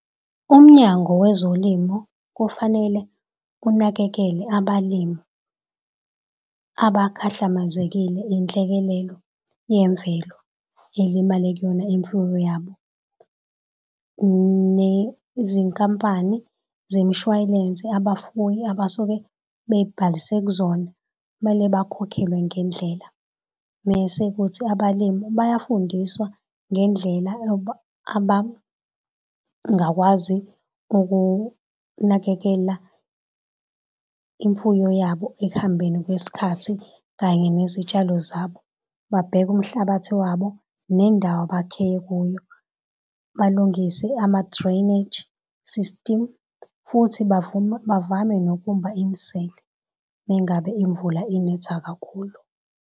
Umnyango wezolimo kufanele unakekele abalimi abakhahlamezekile Inhlekelele yemvelo ilimale kuyona imfuyo yabo nezinkampani zemishwalense abafuyi abasuke bebhalise kuzona kumele bakhokhelwe ngendlela mese kuthi abalimi bayafundiswa ngendlela abangakwazi ukunakekela imfuyo yabo ekuhambeni kwesikhathi kanye nezitshalo zabo. Babheke umhlabathi wabo nendawo abakhe kuyo balungise ama-drainage system futhi bavume bavame nokumba imisele mengabe imvula inetha kakhulu.